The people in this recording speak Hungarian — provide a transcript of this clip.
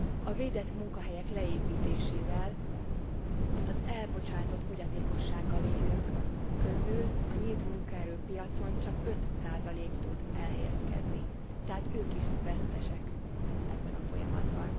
A védett munkahelyek leépítésével az elbocsátott fogyatékossággal élők közül a nyílt munkaerőpiacon csak 5 tud elhelyezkedni, tehát ők is vesztesek ebben a folyamatban.